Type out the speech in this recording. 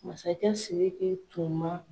Masakɛ Siriki tun man